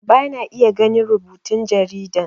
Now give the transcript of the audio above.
Bana iya ganin rubutun jaridan